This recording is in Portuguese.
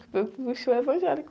show evangélico.